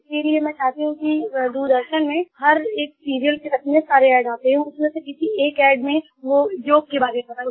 इसके लिए मैं चाहती हूँ कि दूरदर्शन में हर एक सीरियल के बीच में जो सारे एडीएस एडवर्टाइजमेंट आते हैं उसमें से किसी एक एडी में योग के बारे में बताएँ